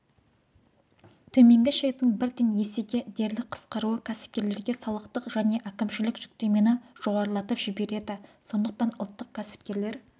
төменгі шектің бірден есеге дерлік қысқаруы кәсіпкерлерге салықтық және әкімшілік жүктемені жоғарылатып жібереді сондықтан ұлттық кәсіпкерлер